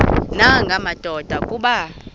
nanga madoda kuba